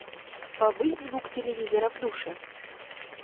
повысь звук телевизора в душе